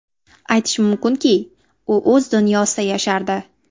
Aytish mumkinki, u o‘z dunyosida yashardi”.